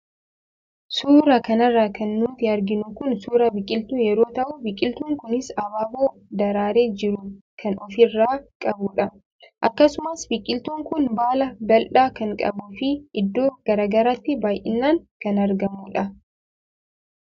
Suura kanarraa kan nuti arginu kun suuraa biqiltuu yeroo tahu biqiltuun kunis abaaboo daraaree jiru kan ofiirrarra qabudha. Akkasuma biqiltuun kun baala baldhaa kan qabu fi iddoo garaagaraatti baayinaan kan argamudha.